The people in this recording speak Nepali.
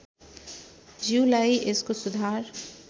ज्यूलाई यसको सुधार